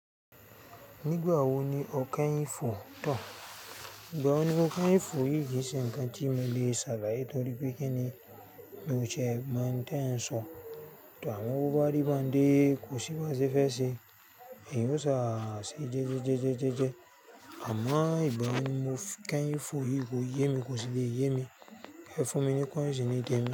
Nígbà wo ni o kẹ́yìn fò tán? Ìgbà wo ni mo kẹ́yìn fò yìí kì í ṣe ǹkan tí mo le ṣàlàyé torí pé kíni mó sẹ́ mo ohun tí eń sọ. Tàbí bó bá rí bandé kò sì wá ṣe fẹ́ ṣe, èyí ó ṣàṣì jẹ́jẹ́jẹ́jẹ́jẹ́jẹ́. Àmọ́ ìgbà wo ni mo kẹ́yìn fò yìí kò yé mi, kò sì le yé mi. Ẹ fún mi ní kọ́nsì ní te mi.